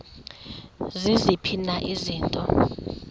ziziphi na izinto